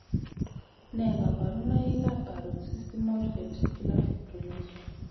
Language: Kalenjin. Nee kabarunoikab Paroxysmal Ventricular Fibrillation?